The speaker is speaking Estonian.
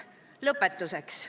" Lõpetuseks.